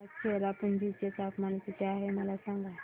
आज चेरापुंजी चे तापमान किती आहे मला सांगा